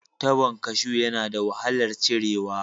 Tabon kashu yana da wahalar cirewa